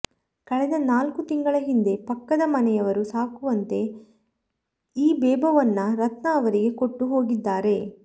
ಕಳೆದ ನಾಲ್ಕು ತಿಂಗಳ ಹಿಂದೆ ಪಕ್ಕದ ಮನೆಯವರು ಸಾಕುವಂತೆ ಈ ಬೇಬೋವನ್ನ ರತ್ನಾ ಅವರಿಗೆ ಕೊಟ್ಟು ಹೋಗಿದ್ದಾರೆ